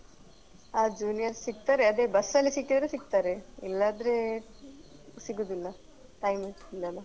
ಹ juniors ಸಿಗ್ತಾರೆ ಅದೇ bus ‌ಅಲ್ಲಿ ಸಿಕ್ಕಿದ್ರೆ ಸಿಗ್ತಾರೆ ಇಲ್ಲಾದ್ರೆ ಸಿಗುದಿಲ್ಲ time ಇಲ್ಲಲ್ಲ.